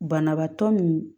Banabaatɔ min